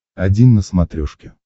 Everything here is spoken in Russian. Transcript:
один на смотрешке